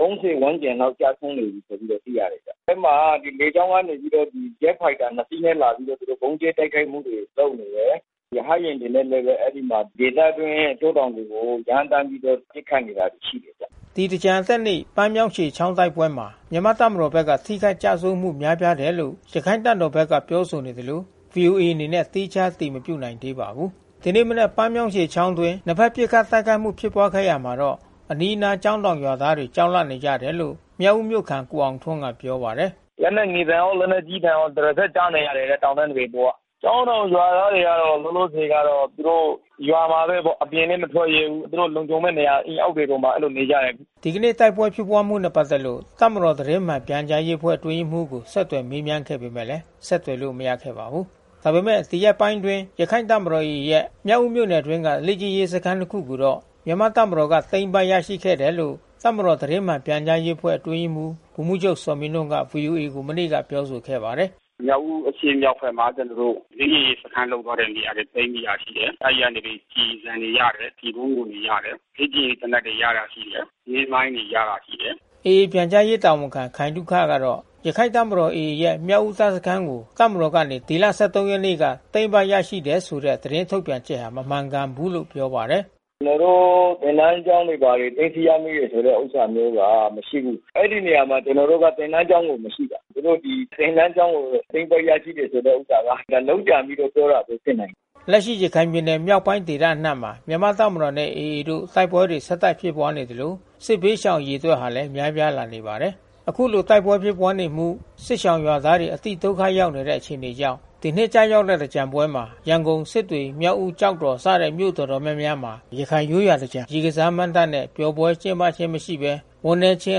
၃၀) ဝန်းကျင်လောက် ကျဆုံးနေပြီဆိုပြီးတော့ သိရတယ်။ အဲဒီမှာ လေကြောင်းကနေပြီးတော့ ဂျက်ဖိုက်တာ (၂) စီးနဲ့ လာပြီးတော့ သူတို့ ဗုံးကြဲတိုက်ခိုက်မှုတွေ လုပ်နေတယ်။ ရဟတ်ယာဉ်တွေနဲ့လည်း အဲဒီမှာ ဒေသအတွင်း တောတောင်တွေကို ရမ်းသန်းပြီးတော့ ပစ်ခတ်နေတာ ရှိတယ်ဗျ။” ဒီသင်္ကြန်အတက်နေ့ ပန်းမြောင်းရှည်ချောင်း တိုက်ပွဲမှာ မြန်မာ့တပ်မတော်ဘက်က ထိခိုက်ကျဆုံးမှု များပြားတယ်လို့ ရခိုင်တပ်တော်ဘက်က ပြောဆိုနေသလို ဗွီအိုအေအနေနဲ့ သီးခြား အတည်မပြုနိုင်သေးပါဘူး။ ဒီနေ့မနက် ပန်းမြောင်းရှည်ချောင်းအတွင်း နှစ်ဘက် ပစ်ခတ်တိုက်ခိုက်မှု ဖြစ်ပွါးခဲ့ရာမှာတော့ အနီးနားကျောင်းတောင် ရွာသားတွေ ကြောက်လန့်နေကြတယ်လို့ မြောက်ဦးမြို့ခံ ကိုအောင်ထွန်းကပြောပါတယ်။ “လက်နက်ငယ်သံရော လက်နက်ကြီးသံရော ဒလစပ် ကြားနေရတယ်... တောင်တန်းတွေအပေါ်က။ ကျောင်းတောင် ရွာသားတွေကတော့ လောလောဆယ်ကတော့ သူတို့ ရွာမှာပဲပေါ့။ အပြင်လည်း မထွက်ရဲဘူး။ သူတို့ လုံခြုံမဲ့နေရာ အိမ် အောက်မှာပဲ အဲဒီလိုနေကြတယ်။” ဒီကနေ့ တိုက်ပွဲဖြစ်ပွါးမှုနဲ့ ပက်သက်လို့ တပ်မတော် သတင်းမှန်ပြန်ကြားရေး အဖွဲ့အတွင်းရေးမှူးကို ဆက်သွယ် မေးမြန်းခဲ့ပေမဲ့လည်း ဆက်သွယ်လို့ မရခဲ့ပါဘူး။ ဒါပေမဲ့ ဒီရက်ပိုင်းအတွင်း ရခိုင့်တပ်တော် AA ရဲ့ မြောက်ဦးမြို့နယ်အတွင်းက လေ့ကျင့်ရေးစခန်း တခုကိုတော့ မြန်မာ့တပ်မတော်က သိမ်းပိုက်ရရှိခဲ့တယ်လို့ တပ်မတော် သတင်းမှန်ပြန်ကြားရေးအဖွဲ့ အတွင်းရေးမှူးဗိုလ်မှူးချုပ် ဇော်မင်းထွန်းကနေ ဗွီအိုအေကို မနေ့က ပြောဆိုခဲ့ပါတယ်။ “မြောက်ဦး အရှေ့မြောက်ဘက်မှာ ကျနော်တို့ လေ့ကျင့်ရေးစခန်း လုပ်သွားတဲ့နေရာတွေ သိမ်းမိရရှိတယ်။ အဲဒီကနေ ကျည်ဆံတွေရတယ်။ ကျည်ပုန်းခွံတွေ ရတယ်။ လေ့ကျင့်ရေးသေနတ်တွေ ရတာရှိတယ်။ နင်းမိုင်းတွေ ရတာရှိတယ်။” AA ပြန်ကြားရေး တာဝန်ခံခိုင်သုခကတော့ ရခိုင့်တပ်တော် AA ရဲ့ မြောက်ဦးတပ်စခန်းကို တပ်မတော်ကနေ ဒီလ ၁၃ ရက်နေ့က သိမ်းပိုက်ရရှိတယ်ဆိုတဲ့ သတင်းထုတ်ပြန်ချက်ဟာ မမှန်ကန်ဘူးလို့ ပြောပါတယ်။ “ကျနော်တို့ သင်တန်းကျောင်းတွေ ဘာတွေ သိမ်းဆီးရမိတယ်ဆိုတဲ့ ဥစ္စာမျိုးဟာ မရှိဘူး။ အဲဒီနေရာမှာ ကျနော်တို့ သင်တန်းကျောင်းဆိုတာ မရှိတာ။ သူတို့ ဒီသင်တန်းကျောင်းကို သိမ်းပိုက်ရရှိတယ်ဆိုတဲ့ ဥစ္စာဟာ လုပ်ကြံပြီးပြောတာမျိုး ဖြစ်နိုင်တယ်။” လက်ရှိ ရခိုင်ပြည်နယ် မြောက်ပိုင်းဒေသအနှံ့မှာ မြန်မာ့တပ်မတော်နဲ့ AA တို့ တိုက်ပွဲတွေ ဆက်တိုက်ဖြစ်ပွါးနေသလို စစ်ဘေးရှောင် အရေအတွက်ဟာလည်း များပြားလာနေပါတယ်။ အခုလိုတိုက်ပွဲဖြစ်ပွါးနေမှု စစ်ရှောင်ရွာသားတွေ အတိဒုက္ခရောက်နေတဲ့ အခြေအနေကြောင့် ဒီနှစ်ကျရောက်တဲ့ သင်္ကြန်ပွဲမှာ ရန်ကုန်၊ စစ်တွေ၊ မြောက်ဦး၊ ကျောက်တော်စတဲ့ မြို့တော်တော်များမှာ ရခိုင်ရိုးရာသင်္ကြန် ရေကစား မဏ္ဍပ်နဲ့ ပျော်ပွဲကျင်းပခြင်းမရှိဘဲ ဝမ်းနည်းခြင်း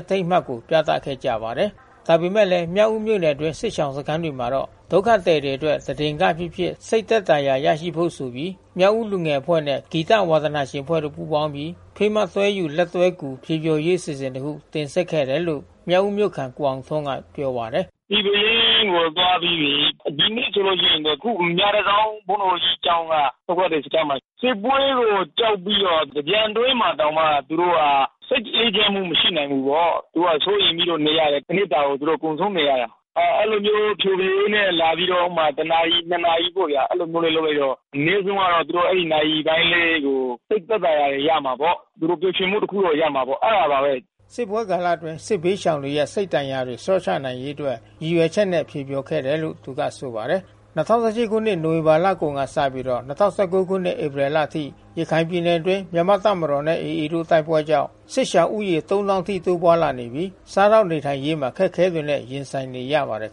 အထိမ်းအမှတ်ကို ပြသခဲ့ကြပါတယ်။ ဒါပေမဲ့လဲ မြောက်ဦးမြို့နယ်အတွင်း စစ်ရှောင်စခန်းတွေမှာတော့ ဒုက္ခသည်တွေအတွက် တဒင်္ဂပဲဖြစ်ဖြစ် စိတ်သက်သာရာရစေဖို့ဆိုပြီး မြောက်ဦးလူငယ်အဖွဲ့နဲ့ ဂီတဝါသနာရှင်အဖွဲ့တွေ ပူးပေါင်းပြီး "ဖေးမတွဲယူ လက်တွဲကူ" ဖျော်ဖြေရေး အစီအစဉ် တခု တင်ဆက်ခဲ့တယ်လို့ မြောက်ဦးမြို့ခံ ကိုအောင်ထွန်း က ပြောပါတယ်။ “ဒီပဲရင်းကို သွားပြီးပြီး။ ဒီနေ့ဆိုလို့ရှိရင်တော့ အခုမြတန်ဆောင်း ဘုန်းတော်ကြီးကျောင်းက ဒုက္ခသည်စခန်းမှာ။ စစ်ပွဲကိုကြောက်ပြီးတော့ သင်္ကြန်တွင်းမှာ တောင်မှသူတို့က စိတ်အေးချမ်းမှု မရှိနိုင်ဘူးပေါ့။ သူတို့က စိုးရိမ်ပြီးတော့ နေရတယ်။ တနှစ်တာကို သူတို့ကုန်ဆုံးနေရတာ။ အဲဒီလိုမျိုး ဖျော်ဖြေရေးနဲ့ လာပြီးတော့ ဥပမာ ၁ နာရီ၊ ၂ နာရီပေါ့ဗျာ။ အဲဒီလိုမျိုးလေး လုပ်လိုက်တော့ အနည်းဆုံးကတော့ သူတို့ အဲဒီနာရီပိုင်းလေးကို စိတ်သက်သာရာရမှာပေါ့။ သူတို့ ပျော်ရွှင်မှု တခုတော့ရမှာပေါ့။ အဲတာပါပဲ။” စစ်ပွဲကာလအတွင်း စစ်ဘေးရှောင်တွေရဲ့ စိတ်ဒဏ်ရာတွေ လျော့ချနိုင်ရေးအတွက် ရည်ရွယ်ချက်နဲ့ ဖြေဖျော်ခဲ့တယ် လို့ သူကဆိုပါတယ်။ ၂၀၁၈ခုနှစ် နိုဝင်ဘာလကုန်ကနေစပြီး ၂၀၁၉ခုနှစ် ဧပြီလအထိ ရခိုင်ပြည်နယ်အတွင်း မြန်မာ့တပ်မတော်နဲ့ AA တို့ တိုက်ပွဲကြောင့် စစ်ရှောင်ဦးရေ (၃၀၀၀၀) ထိ တိုးပွါးလာနေပြီး စားသောက်နေထိုင်ရေးမှာ အခက်ခဲတွေနဲ့ ရင်ဆိုင်နေရပါတယ်